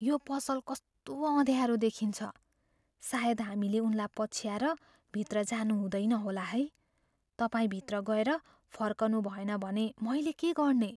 यो पसल कस्तो अँध्यारो देखिन्छ। सायद हामीले उनलाई पछ्याएर भित्र जानु हुँदैन होला है। तपाईँ भित्र गएर फर्कुनभएन भने मैले के गर्ने?